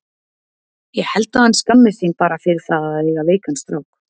Ég held að hann skammist sín bara fyrir það að eiga veikan strák.